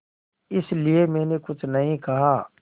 इसलिए मैंने कुछ नहीं कहा